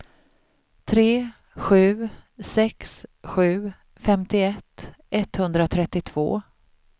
tre sju sex sju femtioett etthundratrettiotvå